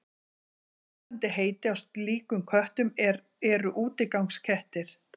Annað lýsandi heiti á slíkum köttum eru útigangskettir.